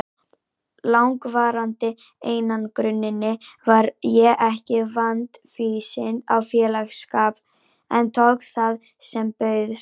langvarandi einangruninni var ég ekki vandfýsin á félagsskap en tók það sem bauðst.